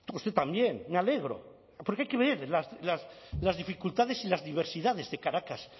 usted también me alegro porque hay que ver las dificultades y las diversidades de caracas